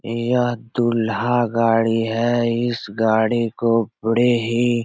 यह दूल्हा गाड़ी है इस गाड़ी को बड़े ही --